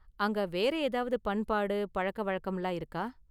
அங்க வேற ஏதாவது பண்பாடு, பழக்க வழக்கம்லாம் இருக்கா?